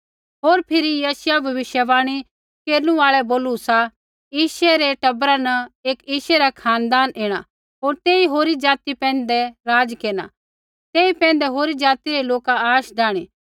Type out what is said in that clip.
होर फिरी यशायाह भविष्यवाणी केरनु आल़ै बोलू सा यिशै रै टबरा न एक यिशै रा खानदान ऐणा होर तेई होरी ज़ाति पैंधै राज़ केरना तेई पैंधै होरी ज़ाति रै लोका आश डाहणी